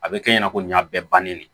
A bɛ kɛ i ɲɛna ko nin y'a bɛɛ bannen de ye